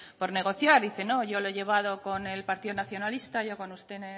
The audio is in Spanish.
por negociar dice no yo lo he llevado con el partido nacionalista yo con usted